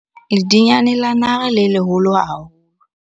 Ledinyane la nare le leholo haholo.